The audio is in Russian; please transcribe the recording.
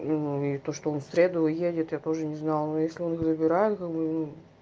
ну и то что он в среду уедет я тоже не знала но если он забирает как бы ну